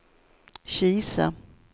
Kisa